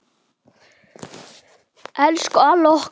Elsku Alli okkar.